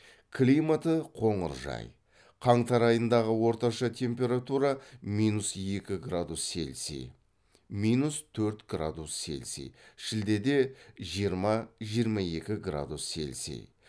климаты қоңыржай қаңтар айындағы орташа температура минус екі градус селси минус төрт градус селси шілдеде жиырма жиырма екі градус селси